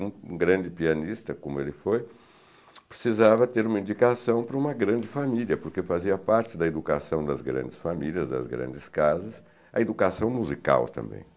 Um grande pianista, como ele foi, precisava ter uma indicação para uma grande família, porque fazia parte da educação das grandes famílias, das grandes casas, a educação musical também.